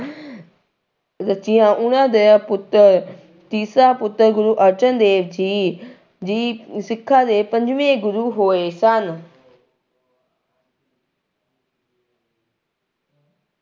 ਰਚੀਆਂ, ਉਹਨਾਂ ਦੇ ਪੁੱਤਰ, ਤੀਸਰਾ ਪੁੱਤਰ ਗੁਰੂ ਅਰਜਨ ਦੇਵ ਜੀ ਜੀ ਸਿੱਖਾਂ ਦੇ ਪੰਜਵੇਂ ਗੁਰੂ ਹੋਏ ਸਨ।